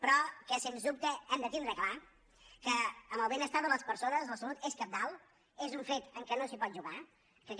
però sens dubte hem de tindre clar que en el benestar de les persones la salut és cabdal és un fet amb què no es pot jugar que aquest